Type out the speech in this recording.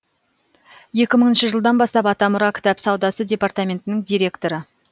екі мыңыншы жылдан бастап атамұра кітап саудасы департаментінің директоры